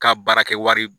Ka baara kɛ wari